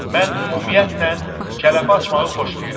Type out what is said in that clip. Mən ümumiyyətlə kələf açmağı xoşlayıram.